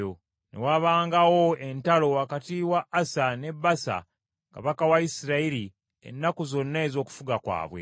Ne wabangawo entalo wakati wa Asa ne Baasa kabaka wa Isirayiri ennaku zonna ez’okufuga kwabwe.